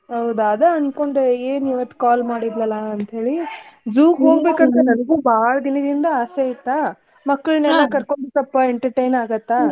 ಹೌದಾ ಅದ್ ಅನ್ಕೊಂಡೆ ಏನ್ ಇವತ್ತ್ call ಮಾಡಿದ್ಲಲ್ಲಾ ಅಂತೇಳಿ zoo ಹೋಗ್ಬೇಕಂತ ನನಗ ಬಾಳ ದಿನದಿಂದ ಆಸೆ ಐತಾ ಮಕ್ಕಳ್ನೆಲ್ಲಾ ಕರ್ಕೊಂಡ್ ಸ್ವಲ್ಪ entertain ಆಗುತ್ತಾ.